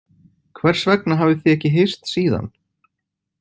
Hvers vegna hafið þið ekki hist síðan?